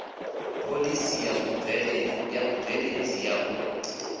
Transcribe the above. phoḽisi ya vhubveledzi ya u